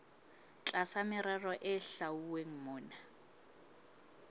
tlasa merero e hlwauweng mona